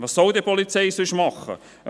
Was sonst soll die Polizei denn tun?